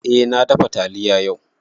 Eh na dafa taliya yau